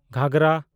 ᱜᱷᱟᱜᱷᱚᱨᱟ